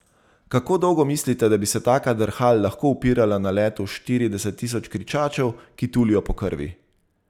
Kako dolgo mislite, da bi se taka drhal lahko upirala naletu štirideset tisoč kričačev, ki tulijo po krvi?